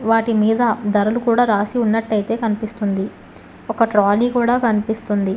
వాటి మీద ధరలు కూడా రాసి ఉన్నట్టయితే కనిపిస్తుంది ఒక ట్రాలీ కూడా కనిపిస్తుంది.